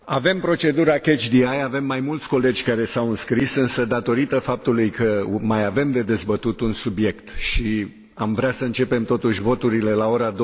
Avem procedura catch the eye, avem mai mulți colegi care s au înscris însă, datorită faptului că mai avem de dezbătut un subiect și am vrea să începem totuși voturile la ora